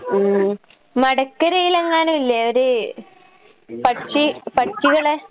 ഉം. മടക്കരേലെങ്ങാനുവില്ലേ ഒരു പക്ഷി പക്ഷികള്